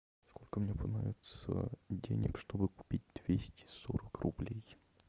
сколько мне понадобится денег чтобы купить двести сорок рублей